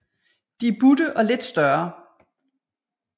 De er butte og lidt større